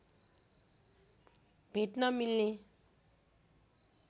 भेट्न मिल्ने